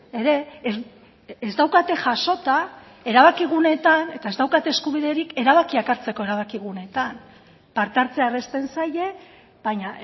ere ez daukate jasota erabakiguneetan eta ez daukate eskubiderik erabakiak hartzeko erabakiguneetan parte hartzea errazten zaie baina